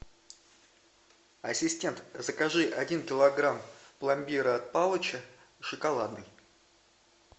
ассистент закажи один килограмм пломбира от палыча шоколадный